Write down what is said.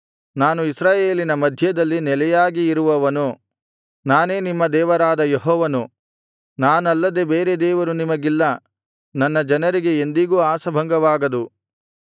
ನಾನು ಇಸ್ರಾಯೇಲಿನ ಮಧ್ಯದಲ್ಲಿ ನೆಲೆಯಾಗಿ ಇರುವವನು ನಾನೇ ನಿಮ್ಮ ದೇವರಾದ ಯೆಹೋವನು ನಾನಲ್ಲದೆ ಬೇರೆ ದೇವರು ನಿಮಗಿಲ್ಲ ನನ್ನ ಜನರಿಗೆ ಎಂದಿಗೂ ಆಶಾಭಂಗವಾಗದು